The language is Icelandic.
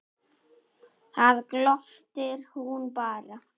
Þá glottir hún bara.